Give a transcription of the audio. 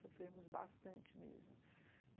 Sofremos bastante mesmo.